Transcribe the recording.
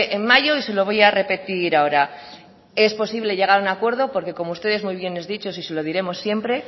en mayo y se lo voy a repetir ahora es posible llegar a un acuerdo porque como ustedes muy bien han dicho y se lo diremos siempre